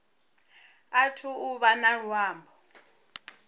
athu u vha na luambo